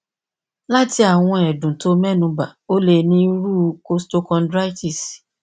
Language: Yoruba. lati awọn ẹdun ti o mẹnuba o le ni iru costochondritis